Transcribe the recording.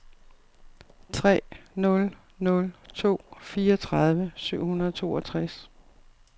tre nul nul to fireogtredive syv hundrede og toogtres